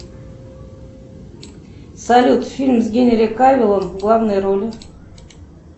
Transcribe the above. салют фильм с генри кавиллом в главной роли